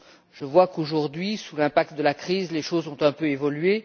Je vois qu'aujourd'hui, sous l'effet de la crise, les choses ont un peu évolué.